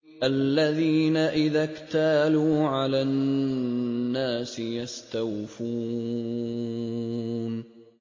الَّذِينَ إِذَا اكْتَالُوا عَلَى النَّاسِ يَسْتَوْفُونَ